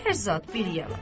Hər zat bir yanan.